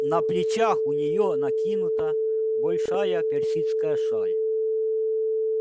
на плечах у неё накинута большая персидская шаль